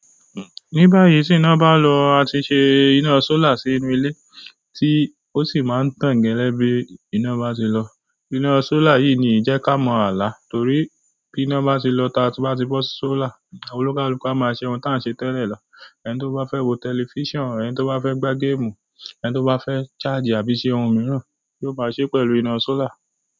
Ní báyìí tí iná bá lọ a ti ṣe iná solar sínú ilé tí ó sì máa ń tàn gẹ́lẹ́ bí iná bá ṣe lọ. Iná solar yìí ni ìjẹ́ ká mọ ala torí bí iná bá ṣe lọ tá a bá ti bọ solar, olúkalúku a máa ṣe ohun tá ń ṣe tẹ́lẹ̀ lọ. Ẹni tó bá fẹ́ wo tẹlifíṣàn, ẹni tó bá fẹ́ gbá gamu, ẹni tó bá fẹ́ charge àbí ṣe ohun mìíràn, yóò máa ṣe pẹ̀lú iná solar.